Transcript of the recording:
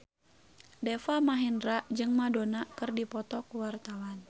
Deva Mahendra jeung Madonna keur dipoto ku wartawan